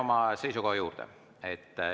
Ma jään oma seisukoha juurde.